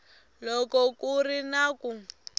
loko ku ri na ku